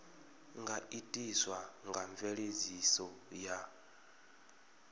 nga itiswa nga mveledziso ya